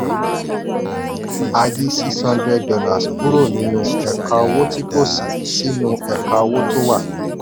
a yí six hundred dollars kúrò nínú ẹ̀ka owó tí kò sí sínú ẹ̀ka owó tó wà.